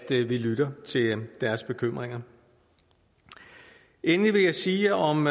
vi lytter til deres bekymringer endelig vil jeg sige om